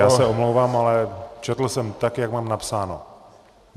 Já se omlouvám, ale četl jsem tak, jak mám napsáno.